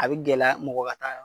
A be gɛlɛya mɔgɔ ka taa